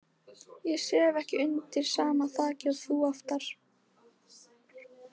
Ég sef ekki undir sama þaki og þú oftar.